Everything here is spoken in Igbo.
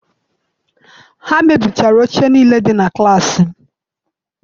Ha mebisiri oche niile dị na klaasị m